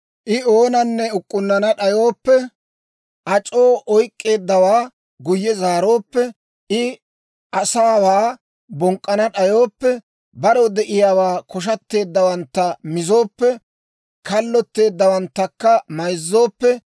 I oonanne uk'k'unnana d'ayooppe, ac'oo oyk'k'eeddawaa guyye zaarooppe, I asaawaa bonk'k'ana d'ayooppe, barew de'iyaawaappe koshateeddawantta mizooppe, kallotteeddawanttakka mayzzooppe,